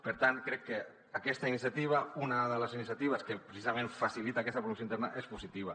per tant crec que aquesta iniciativa una de les iniciatives que precisament facilita aquesta promoció interna és positiva